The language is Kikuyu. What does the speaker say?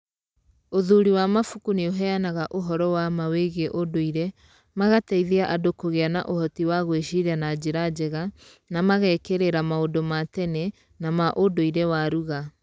ũthuri wa mabuku nĩ uheanaga ũhoro wa ma wĩgiĩ ũndũire, magateithia andũ kũgĩa na ũhoti wa gwĩciria na njĩra njega na na magekirĩra maũndũ ma tene na ma unduire wa rugha.